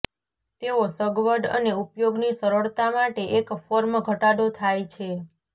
તેઓ સગવડ અને ઉપયોગની સરળતા માટે એક ફોર્મ ઘટાડો થાય છે